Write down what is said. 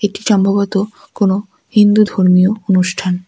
এটি সম্ভবত কোনো হিন্দু ধর্মীয় অনুষ্ঠান।